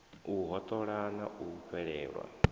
u hoṱola na u fhelelwa